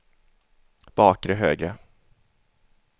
bakre högra